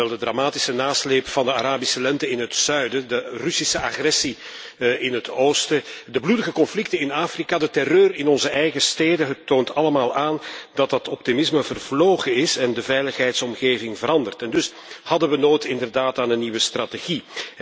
De dramatische nasleep van de Arabische Lente in het zuiden, de Russische agressie in het oosten, de bloedige conflicten in Afrika, de terreur in onze eigen steden het toont allemaal aan dat dat optimisme is vervlogen en de veiligheidsomgeving is veranderd. We hadden dus inderdaad behoefte aan een nieuwe strategie.